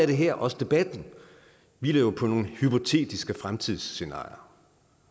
det her også debatten hviler jo på nogle hypotetiske fremtidsscenarier